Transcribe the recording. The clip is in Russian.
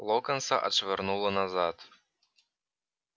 локонса отшвырнуло назад